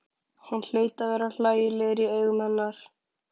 Hann hlaut að vera hlægilegur í augum hennar.